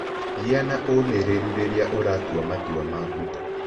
Gĩa na ũmĩrĩru rĩrĩa ũratua matua maku.